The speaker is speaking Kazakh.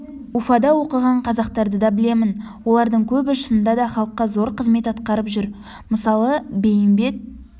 уфада оқыған қазақтарды да білемін олардың көбі шынында да халыққа зор қызмет атқарып жүр мысалы бейімбет